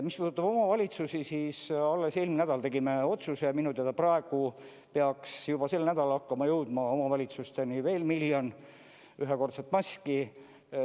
Mis puudutab omavalitsusi, siis alles eelmine nädal tegime otsuse ja minu teada praegu peaks juba sel nädalal hakkama jõudma omavalitsusteni veel miljon ühekordset maski.